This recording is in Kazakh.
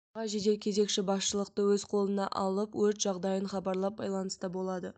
аға жедел кезекші басшылықты өз қолына алып өрт жағдайын хабарлап байланыста болады